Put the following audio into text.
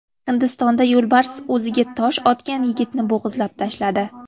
Hindistonda yo‘lbars o‘ziga tosh otgan yigitni bo‘g‘izlab tashladi.